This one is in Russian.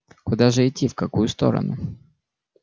куда же идти в какую сторону